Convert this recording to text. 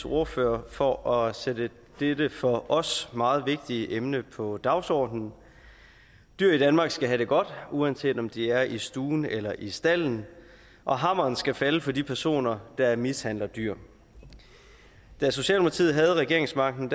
ordfører for at sætte dette for os meget vigtige emne på dagsordenen dyr i danmark skal have det godt uanset om de er i stuen eller i stalden og hammeren skal falde for de personer der mishandler dyr da socialdemokratiet havde regeringsmagten